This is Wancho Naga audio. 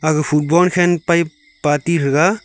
aga footbon khen pai party thaga.